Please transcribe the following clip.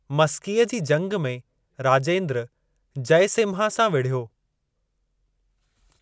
मस्कीअ जी जंग में राजेंद्र, जयसिम्हा सां विढ़यो।